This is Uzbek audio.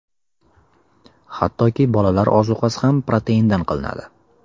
Hattoki bolalar ozuqasi ham proteindan qilinadi.